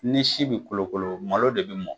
Ni si bɛ kolokolo ,malo de bɛ mɔ